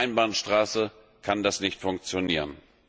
Aber als Einbahnstraße kann das nicht funktionieren.